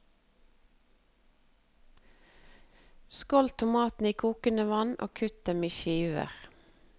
Skåld tomatene i kokende vann, og kutt dem i skiver.